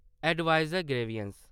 adviser grievance